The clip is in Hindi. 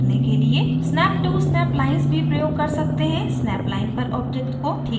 snap to snap lines भी प्रयोग कर सकते हैंsnap line पर object को ठीक से स्थित करने के लिए